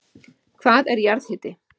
Hvað er jarðhiti?